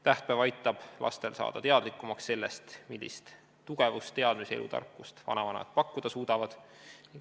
Tähtpäev aitab lastel saada teadlikumaks sellest, millist tugevust, teadmist ja elutarkust vanavanemad pakkuda suudavad.